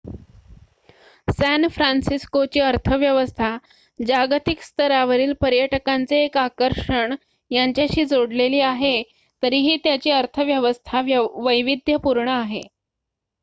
San फ्रान्सिस्कोची अर्थव्यवस्था जागतिक स्तरावरील पर्यटकांचे एक आकर्षण यांच्याशी जोडलेली आहे तरीही त्याची अर्थव्यवस्था वैविध्यपूर्ण आहे